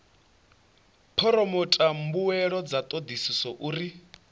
phoromotha mbuelo dza thodisiso uri